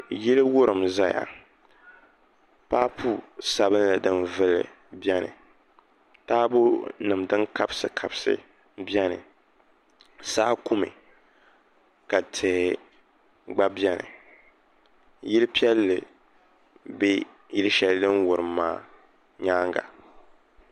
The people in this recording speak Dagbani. Yili wurim ʒɛya paapu sabinli din vuli biɛni taabo nim din kabisi kabisi biɛni saa kumi ka tihi gba biɛni yili piɛlli bɛ yili shɛli din wurim maa nyaanga